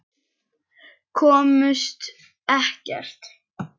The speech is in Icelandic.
Komust ekkert.